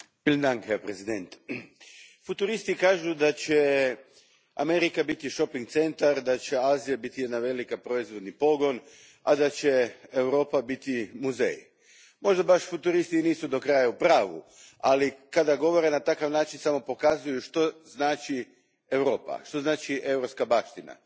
Gospodine predsjedniče, futuristi kažu da će Amerika biti shopping centar, da će Azija biti jedan veliki proizvodni pogon, a da će Europa biti muzej. Možda futuristi baš i nisu do kraja u pravu, ali kada govore na takav način, samo pokazuju što znači Europa, što znači europska baština.